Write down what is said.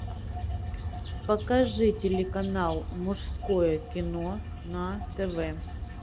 покажи телеканал мужское кино на тв